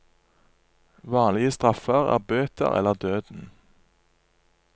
Vanlige straffer er bøter eller døden.